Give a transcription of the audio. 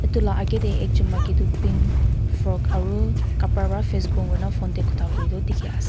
etu lah aage teh ekjon maiki tu pink frock aru kapra pra Face bond hoina phone teh kotha kore tu dikhi ase.